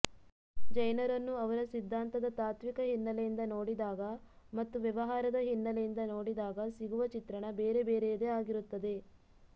ಜೈನರನ್ನು ಅವರ ಸಿದ್ಧಾಂತದ ತಾತ್ವಿಕ ಹಿನ್ನೆಲೆಯಿಂದ ನೋಡಿದಾಗ ಮತ್ತು ವ್ಯವಹಾರದ ಹಿನ್ನೆಲೆಯಿಂದ ನೋಡಿದಾಗ ಸಿಗುವ ಚಿತ್ರಣ ಬೇರೆ ಬೇರೆಯದೇ ಆಗಿರುತ್ತದೆ